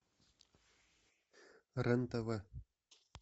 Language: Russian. рен тв